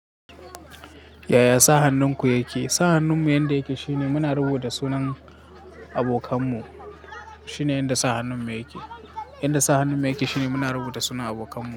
Yaya sa hannunku yake? Sa hannunmu yanda yake shine muna rubuta sunan abokanmu. Shinen yadda sa hannunmu yake. Yanda sa hannunmu yake shine muna rubuta sunan abokanmu.